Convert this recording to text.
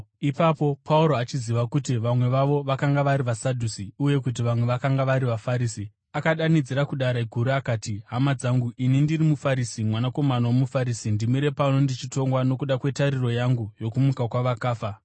Ipapo Pauro, achiziva kuti vamwe vavo vakanga vari vaSadhusi uye kuti vamwe vakanga vari vaFarisi, akadanidzira kuDare Guru akati, “Hama dzangu, ini ndiri muFarisi, mwanakomana womuFarisi. Ndimire pano ndichitongwa nokuda kwetariro yangu yokumuka kwavakafa.”